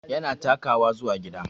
Yana takawa zuwa gida